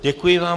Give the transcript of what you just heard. Děkuji vám.